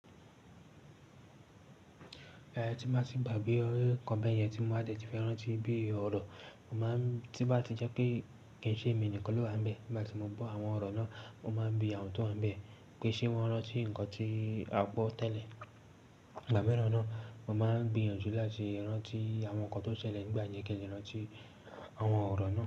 Ẹ̀ tí máa tì gbágbe nnkan bẹ́ẹ̀ yẹn tí mo máa tìí fi rántí bí ọ̀rọ̀, mo máa ń tí bá ti jẹ́ pé kí n ṣe èmi nìkan ló wà níbẹ̀, nígbà tí mo bo àwọn ọ̀rọ̀ náà, mo máa ń bi àwọn tó wà níbẹ̀ pé ṣé wọ́n rán tí ǹkan tí a gbọ́ tẹ́lẹ̀. Ìgbà mìíràn náà, mo máa ń gbéyànjú láti rán tí àwọn nǹkan tó ṣẹlẹ̀ nígbà yẹn kí ẹ sì rán tí àwọn ọ̀rọ̀ náà.